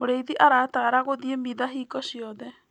Mũrĩithi aratara gũthiĩ mithaa hingo ciothe.